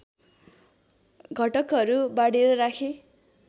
घटकहरू बाँडेर राखे